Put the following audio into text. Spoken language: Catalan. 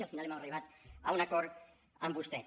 i al final hem arribat a un acord amb vostès